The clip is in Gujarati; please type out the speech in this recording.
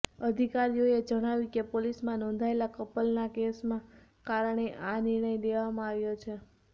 અધિકારીઓએ જણાવ્યું કે પોલીસમાં નોંધાયેલા કપલના એક કેસના કારણે આ નિર્ણય લેવામાં આવ્યો છે